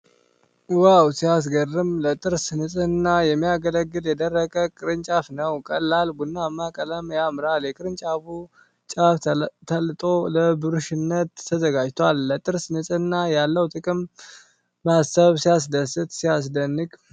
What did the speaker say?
ዋው ሲያስገርም! ለጥርስ ንጽህና የሚያገለግል የደረቀ ቅርንጫፍ ነው። ቀላል ቡናማ ቀለሙ ያምራል። የቅርንጫፉ ጫፍ ተላጦ ለብሩሽነት ተዘጋጅቷል። ለጥርስ ንጽህና ያለውን ጥቅም ማሰብ ሲያስደስት! ሲያስደንቅ!